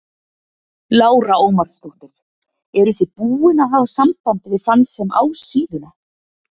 Lára Ómarsdóttir: Eruð þið búin að hafa samband við þann sem á síðuna?